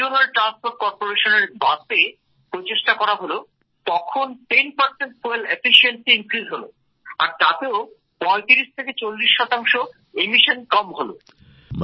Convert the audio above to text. আর যখন regional transport corporation এর বাসে এটা লাগানো হল করা হল তখন ১০ জ্বালানীর দক্ষতা বাড়ল হলো আর তাতেও ৩৫ থেকে ৪০ শতাংশ নিঃসরণ কম হল